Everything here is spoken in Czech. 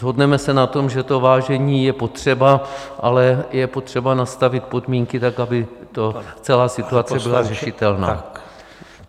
Shodneme se na tom, že to vážení je potřeba, ale je potřeba nastavit podmínky tak, aby celá ta situace byla řešitelná.